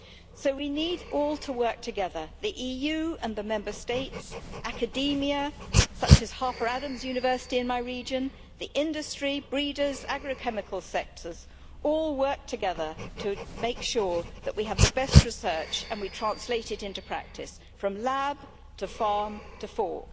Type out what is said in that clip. So we need all to work together the EU and the Member States, academia such as Harper Adams University in my region, the industry, breeders, agro chemical sectors, all work together to make sure that we have the best research and we translate it practice, from lab to farm to fork.